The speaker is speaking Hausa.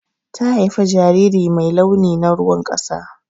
Ta haifa jariri mai launi na ruwan ƙasa.